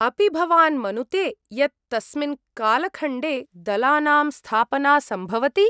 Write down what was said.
अपि भवान् मनुते यत् तस्मिन् कालखण्डे दलानां स्थापना सम्भवति?